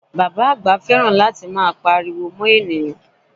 Bàbá àgbà fẹ́ràn láti máa Pariwo mọ́ ènìyàn